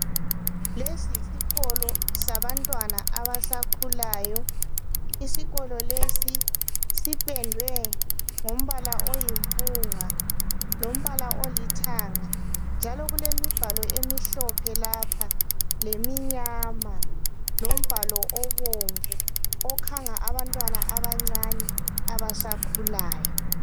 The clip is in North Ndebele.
Lesi yisikolo sabantwana abasakhulayo. lsikolo lesi siphendwe ngombala oyimbunga lombala olithanga njalo kulemibhalo emihlophe lapha leminyama lombhalo obomvu okhanga abantwana abancane abasakhulayo.